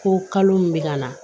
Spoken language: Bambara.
Ko kalo min bɛ ka na